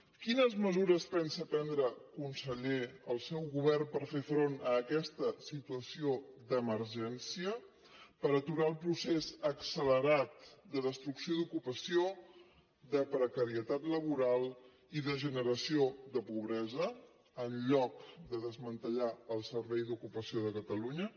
quines mesures pensa prendre conseller el seu govern per fer front a aquesta situació d’emergència per aturar el procés accelerat de destrucció d’ocupació de precarietat laboral i de generació de pobresa enlloc de desmantellar el servei d’ocupació de catalunya